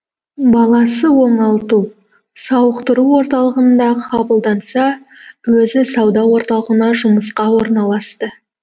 баласы оңалту сауықтыру орталығына қабылданса өзі сауда орталығына жұмысқа орналасты